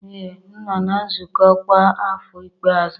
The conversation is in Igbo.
Ee m nọ na nzukọ ọkwa afọ ikpeazụ